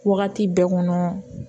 Wagati bɛɛ kɔnɔ